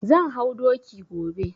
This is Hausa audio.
Zan hau doki gobe.